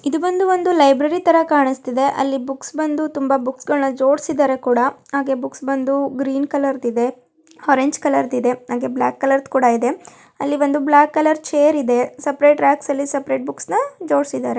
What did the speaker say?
ಇದು ಬಂದು ಒಂದು ಲೈಬ್ರರಿ ತರ ಕಾಣ್ಸ್ತಿದೆ ಅಲ್ಲಿ ಬುಕ್ಸ್ ಬಂದು ತುಂಬಾ ಬುಕ್ಸ್ಗಳ್ನ ಜೋಡ್ಸಿದಾರೆ ಕೂಡ ಹಾಗೆ ಬುಕ್ಸ್ ಬಂದು ಗ್ರೀನ್ ಕಲರ್ದ್ ಇದೆ ಆರೆಂಜ್ ಕಲರ್ದ್ ಇದೆ ಹಾಗೆ ಬ್ಲಾಕ್ ಕಲರ್ದ್ ಕೂಡ ಇದೆ ಅಲ್ಲಿ ಒಂದು ಬ್ಲಾಕ್ ಕಲರ್ ಚೇರ್ ಇದೆ ಸಪರೇಟ್ ರಾಕ್ಸ್ ಅಲ್ಲಿ ಸಪರೇಟ್ ಬುಕ್ಸ್ನ ಜೋಡ್ಸಿದಾರೆ.